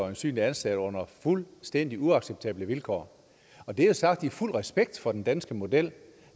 øjensynlig ansat under fuldstændig uacceptable vilkår og det er sagt i fuld respekt for den danske model det